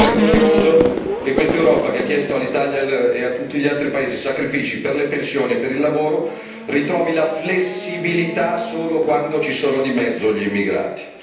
Secondo me è vergognoso che questa Europa che ha chiesto all'Italia e a tutti gli altri paesi sacrifici per le pensioni e per il lavoro ritrovi la flessibilità solo quando ci sono di mezzo gli immigrati.